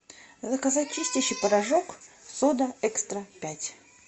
заказать чистящий порошок сода экстра пять